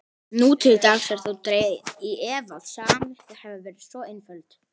Nú til dags er þó dregið í efa að sagan hafi verið svo einföld.